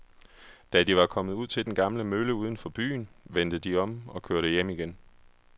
Da de var kommet ud til den gamle mølle uden for byen, vendte de om og kørte hjem igen.